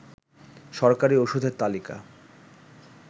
সরকারি ওষুধের তালিকা